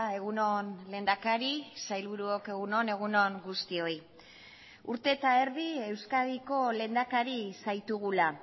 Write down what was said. egun on lehendakari sailburuok egun on egun on guztioi urte eta erdi euskadiko lehendakari zaitugula